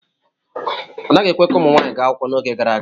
A naghị ekwe ka ụmụ nwanyị gaa akwụkwọ n'oge gara aga.